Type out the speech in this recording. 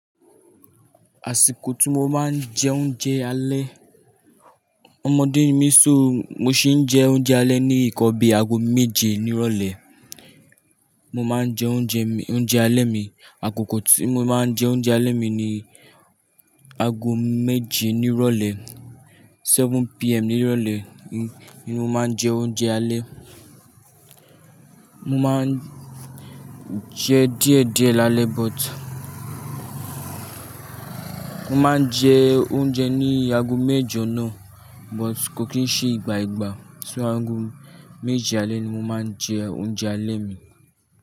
Àsìkò tí mo máa ń jẹ oúnjẹ alẹ́, ọmọdé ni mí so mo ṣi ń jẹ oúnjẹ alẹ́ ní ìkọbìí aago méje ní ìrọ̀lẹ́. Mo máa ń jẹ oúnjẹ mi, oúnjẹ alẹ́ mi, àkókò tí mo máa ń jẹ oúnjẹ alẹ́ mi ni aago méje ní ìrọ̀lẹ́, 7:00 PM ní ìrọ̀lẹ́ ni mo máa ń jẹ oúnjẹ alẹ́. Mo máa ń jẹ díẹ̀ díẹ̀ lalẹ but mo má ń jẹ́ oúnjẹ ní àgọ́ méjọ na, but kò kín ṣe ìgbà ìgbà so ago méje alẹ́ ni mo má ń jẹ́ oúnjẹ alẹ́ mi.